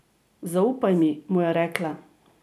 Zaupaj mi, mu je rekla.